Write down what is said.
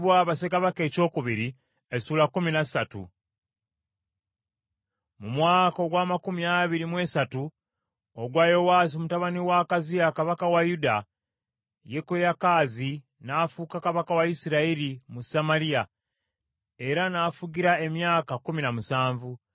Mu mwaka ogw’amakumi abiri mu esatu ogwa Yowaasi mutabani wa Akaziya kabaka wa Yuda, Yekoyakaazi n’afuuka kabaka wa Isirayiri mu Samaliya era n’afugira emyaka kkumi na musanvu.